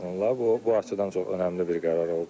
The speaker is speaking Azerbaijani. Onlar bu bu açıdan çox önəmli bir qərar oldu.